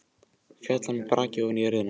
Féll með braki ofan á jörðina.